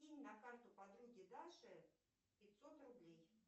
кинь на карту подруге даше пятьсот рублей